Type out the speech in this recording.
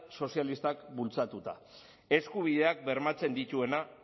sozialistak bultzatuta eskubideak bermatzen dituena